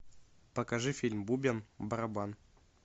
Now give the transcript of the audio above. покажи фильм бубен барабан